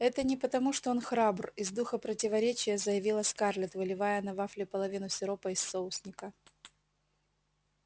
это не потому что он храбр из духа противоречия заявила скарлетт выливая на вафли половину сиропа из соусника